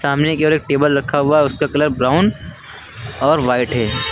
सामने एक टेबल रखा हुआ है उसका कलर ब्राउन और व्हाइट है।